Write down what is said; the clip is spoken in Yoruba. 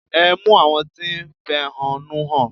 Ẹ mú àwọn tí ń fẹ̀họ́núhàn!